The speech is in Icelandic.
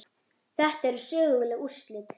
Þetta eru söguleg úrslit.